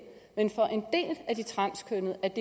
men at af de transkønnede er